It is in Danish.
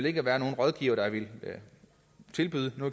ikke være nogen rådgivere der ville tilbyde no